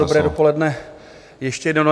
Dobré dopoledne ještě jednou.